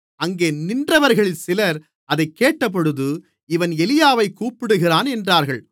அங்கே நின்றவர்களில் சிலர் அதைக் கேட்டபொழுது இவன் எலியாவைக் கூப்பிடுகிறான் என்றார்கள்